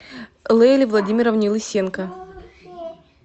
лейле владимировне лысенко